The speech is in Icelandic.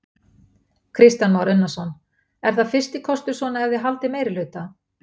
Kristján Már Unnarsson: Er það fyrsti kostur svona ef þið haldið meirihluta?